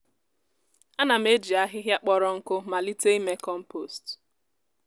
ana m eji ahịhịa kpọrọ nkụ malite ime kọmpost.